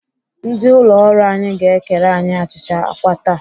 Ndị ụlọ ọrụ anyị ga-ekere anyị achịcha àkwá taa.